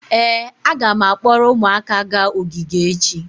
ee, a ga m akpọrọ ụmụaka gaa ogige echi